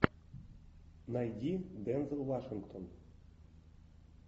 найди дензел вашингтон